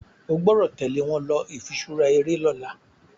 o gbódò tèlé wón ló ifiṣura eré lỌ̀la